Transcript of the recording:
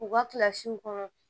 U ka kilasiw kɔnɔ